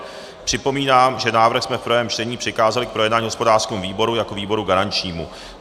Připomínám, že návrh jsme v prvém čtení přikázali k projednání hospodářskému výboru jako výboru garančnímu.